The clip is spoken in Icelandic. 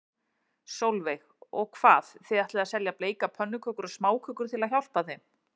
Sólveig: Og hvað, þið ætlið að selja bleikar pönnukökur og smákökur til að hjálpa þeim?